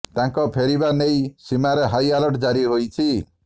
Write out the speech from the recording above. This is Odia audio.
ତାଙ୍କ ଫେରିବା ନେଇ ସୀମାରେ ହାଇ ଆଲର୍ଟ ଜାରି ହୋଇଛି